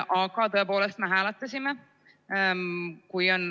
Aga me tõepoolest hääletasime.